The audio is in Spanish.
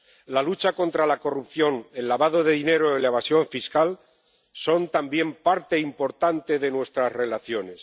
La lucha contra la corrupción, el lavado de dinero y la evasión fiscal son también parte importante de nuestras relaciones.